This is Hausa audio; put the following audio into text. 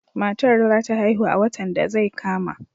Matar za ta haihu a watan da zai kama.